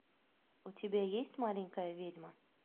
у тебя есть маленькая ведьма